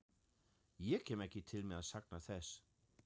Ég kem ekki til með að sakna þess.